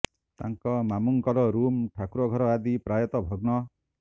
ତାଙ୍କ ମାମୁଁଙ୍କର ରୁମ୍ ଠାକୁର ଘର ଆଦି ପ୍ରାୟତଃ ଭଗ୍ନ